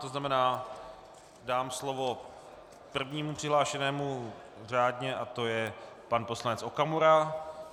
To znamená, dám slovo prvnímu přihlášenému řádně a to je pan poslanec Okamura.